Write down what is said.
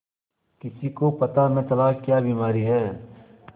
किसी को पता न चला क्या बीमारी है